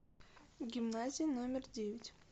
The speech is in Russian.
гимназия номер девять